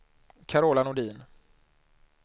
Carola Nordin